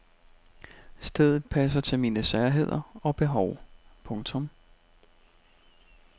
Stedet passer til mine særheder og behov. punktum